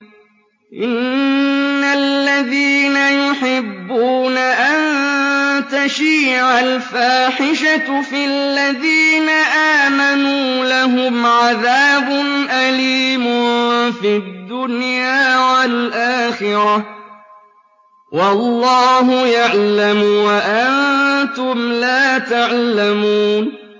إِنَّ الَّذِينَ يُحِبُّونَ أَن تَشِيعَ الْفَاحِشَةُ فِي الَّذِينَ آمَنُوا لَهُمْ عَذَابٌ أَلِيمٌ فِي الدُّنْيَا وَالْآخِرَةِ ۚ وَاللَّهُ يَعْلَمُ وَأَنتُمْ لَا تَعْلَمُونَ